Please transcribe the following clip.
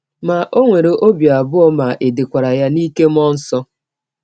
Ma, ọ nwere ọbi abụọ ma è dekwara ya n’ike mmụọ nsọ.